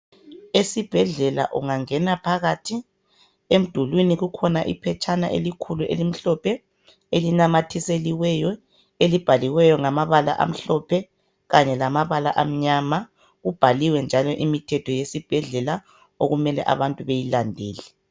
Esibhedlela ungangena phakathi, edulwini kukhona iphetshana elimhlophe, ilinamathiseliweyo, ilibhalwe ngamabala amhlophe kanye lamabala amnyama. Kubhaliwe njalo imithetho yesibhedlela okumele abantu bayilandele.